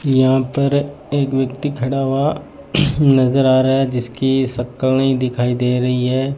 यहां पर एक व्यक्ति खड़ा हुआ नजर आ रहा है जिसकी शकल नहीं दिखाई दे रही है।